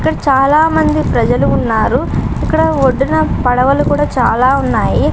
ఇక్కడ చాలా మంది ప్రజలు ఉన్నారు. ఇక్కడ ఒడ్డున పడవలు కూడా చాలా ఉన్నాయి.